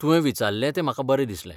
तुवें विचारलें तें म्हाका बरें दिसलें.